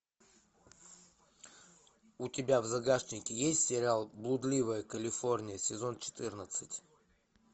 у тебя в загашнике есть сериал блудливая калифорния сезон четырнадцать